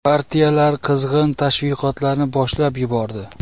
Partiyalar qizg‘in tashviqotlarni boshlab yubordi.